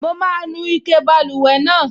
Mo máa nu ike báluwẹ̀ náà